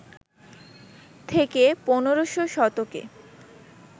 থেকে ১৫শ শতকে